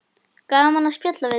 Gaman að spjalla við þig.